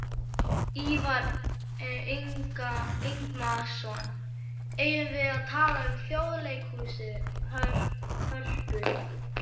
Ívar Ingimarsson: Eigum við að tala um Þjóðleikhúsið, Hörpu?